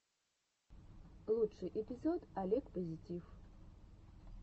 лучший эпизод олег позитив